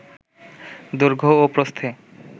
দৈর্ঘ্য ও প্রস্থে